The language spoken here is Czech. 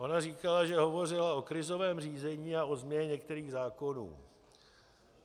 Ona říkala, že hovořila o krizovém řízení a o změně některých zákonů.